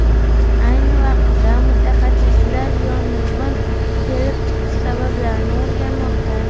Ayni vaqtda mutaxassislar yong‘in kelib chiqish sabablarini o‘rganmoqda.